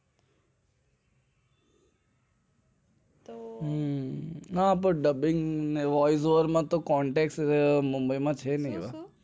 હમ્મ હા પણ dubbing voice over માં તો contact નથી mumbai માં